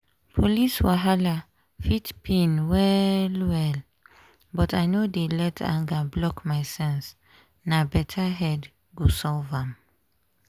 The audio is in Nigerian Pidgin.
police wahala fit pain well-well but i no dey let anger block my sense na better head go solve am.